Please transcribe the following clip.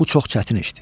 bu çox çətin işdir.